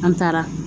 An taara